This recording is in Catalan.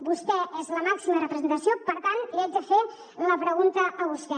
vostè és la màxima representació per tant li haig de fer la pregunta a vostè